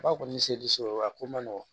Ba kɔni seliso a ko ma nɔgɔn